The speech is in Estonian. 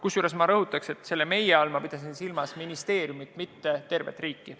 Kusjuures ma rõhutan, et selle "meie" all ma pidasin silmas ministeeriumi, mitte tervet riiki.